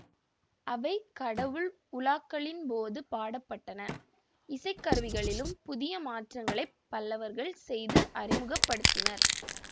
அவை கடவுள் உலாக்களின் போது பாடப்பட்டன இசைக்கருவிகளிலும் புதிய மாற்றங்களை பல்லவர்கள் செய்து அறிமுக படுத்தினர்